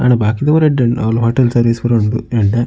ಆಂಡ ಬಾಕಿದ ಪೂರ ಎಡ್ಡೆ ಉಂಡು ಅವುಲು ಹೋಟೆಲ್ ಸರ್ವೀಸ್ ಪೂರ ಉಂಡು ಎಡ್ಡೆ.